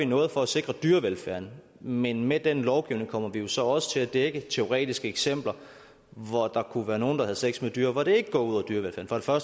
noget for at sikre dyrevelfærden men med den lovgivning kommer vi jo så også til at dække teoretiske eksempler hvor der kunne være nogle der havde sex med dyr hvor det ikke går ud over dyrevelfærden for